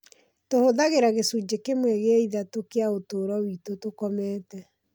Tũhũthagĩra gĩcunjĩ kĩmwe gĩa ithatũ kĩa ũtũũro witũ tũkomete.